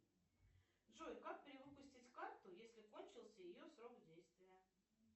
джой как перевыпустить карту если кончился ее срок действия